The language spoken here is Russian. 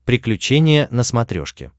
приключения на смотрешке